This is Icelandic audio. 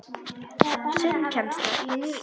Sundkennsla í nýrri laug í Laugardal.